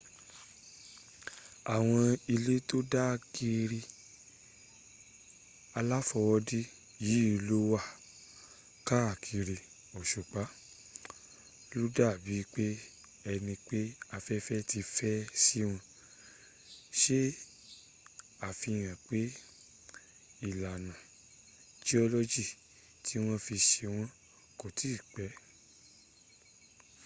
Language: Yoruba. àwọn ilẹ̀ tó dàgẹ̀ẹ̀rẹ̀ aláfọwọ́dá yìí ló wà káàkiri òsùpa\ ló dà bí ẹni pé afẹ́fẹ́ ti fẹ́ síwọn se àfihàn pé ìlànà jiọ́lọ́jì tí wọ́n fi se wọ́n kò tí ì pẹ́